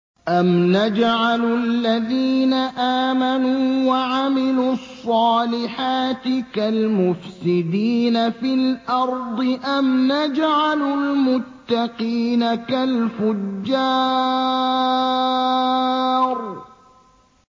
أَمْ نَجْعَلُ الَّذِينَ آمَنُوا وَعَمِلُوا الصَّالِحَاتِ كَالْمُفْسِدِينَ فِي الْأَرْضِ أَمْ نَجْعَلُ الْمُتَّقِينَ كَالْفُجَّارِ